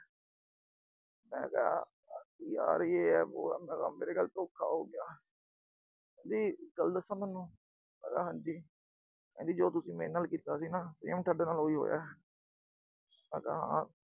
ਮੈਂ ਕਿਹਾ ਅੱਜ ਯਾਰ ਯੇ ਏ, ਬੋ ਏ, ਮੇਰੇ ਨਾਲ ਧੋਖਾ ਹੋ ਗਿਆ। ਕਹਿੰਦੀ ਇੱਕ ਗੱਲ ਦੱਸਾ ਤੋਨੂੰ, ਮੈਂ ਕਿਹਾ ਹਾਂ ਜੀ, ਕਹਿੰਦੀ ਜੋ ਤੁਸੀਂ ਮੇਰੇ ਨਾਲ ਕੀਤਾ ਸੀ ਨਾ, ਵੀ ਹੁਣ ਥੋਡੇ ਨਾਲ ਉਹੀ ਹੋਇਆ। ਮੈਂ ਕਿਹਾ ਹਾਂ।